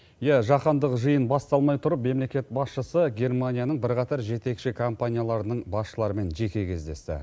иә жаһандық жиын басталмай тұрып мемлекет басшысы германияның бірқатар жетекші компанияларының басшыларымен жеке кездесті